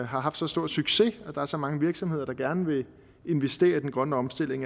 har haft så stor succes at der er så mange virksomheder der gerne vil investere i den grønne omstilling